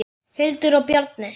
Hildur og Bjarni.